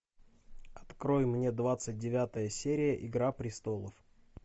открой мне двадцать девятая серия игра престолов